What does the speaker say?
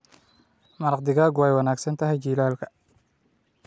Maraq digaagu way wanaagsan tahay jiilaalka.